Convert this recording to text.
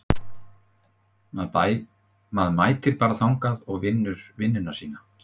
Maður mætir bara þangað og vinnur vinnuna sína.